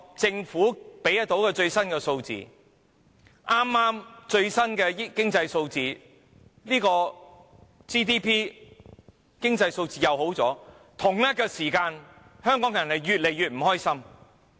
政府公布的最新經濟數字顯示 GDP 有所增長，但為何同一時間，香港人卻越來越不快樂？